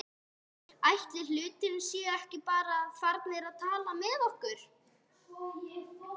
Ætli hlutirnir séu ekki bara farnir að falla með okkur?